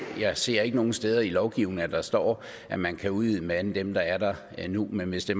jeg ser ikke nogen steder i lovgivningen at der står at man kan udvide med flere end dem der er der nu men hvis det